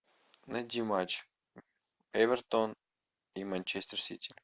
найди матч эвертон и манчестер сити